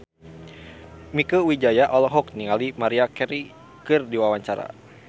Mieke Wijaya olohok ningali Maria Carey keur diwawancara